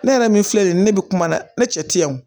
Ne yɛrɛ min filɛ nin ye ne bɛ kuma na ne cɛ tɛ wo